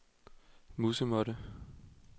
musemåtte